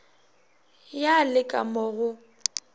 ya le ka mo go